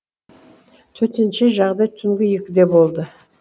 төтенше жағдай түнгі екіде болды